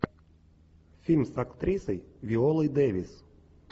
фильм с актрисой виолой дэвис